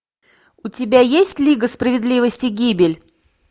у тебя есть лига справедливости гибель